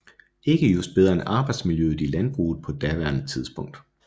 Ikke just bedre end arbejdsmiljøet i landbruget på daværende tidspunkt